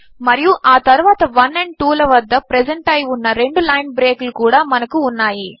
మరియు ఆ తరువాత 1 అండ్ 2 ల వద్ద ప్రెజెంట్ అయి ఉన్న రెండు లైన్ బ్రేక్ లు కూడా మనకు ఉన్నాయి